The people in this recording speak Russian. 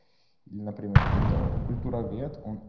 например какой-то культуровед он